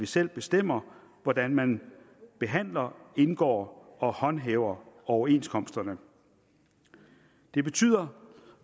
selv bestemmer hvordan man behandler indgår og håndhæver overenskomsterne det betyder